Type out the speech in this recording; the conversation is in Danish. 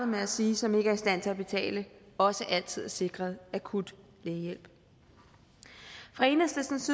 med at sige som ikke er i stand til at betale også altid er sikret akut lægehjælp fra enhedslistens